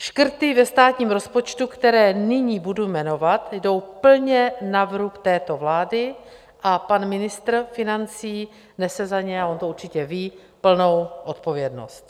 Škrty ve státním rozpočtu, které nyní budu jmenovat, jdou plně na vrub této vlády a pan ministr financí nese za ně - a on to určitě ví - plnou odpovědnost.